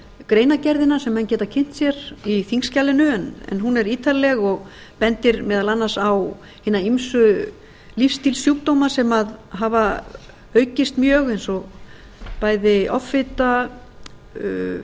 greinargerðina sem menn geta kynnt sér í þingskjalinu en hún er ítarleg og bendir meðal annars á hina ýmsu lífstílssjúkdóma sem hafa aukist mjög eins og bæði offita hjarta